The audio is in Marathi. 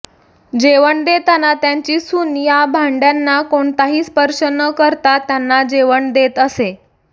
जेवण देताना त्यांची सून या भांड्यांना कोणताही स्पर्श न करता त्यांना जेवण देत असे